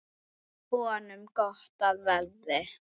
Honum gott af verði.